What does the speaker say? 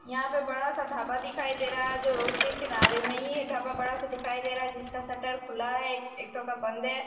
यहां पे बड़ा सा ढाबा दिखाई दे रहा है जो रोड के किनारे मे ही ये ढाबा बड़ा सा दिखाई दे रहा है जिसका शटर खुला है एक ठो का बंद है।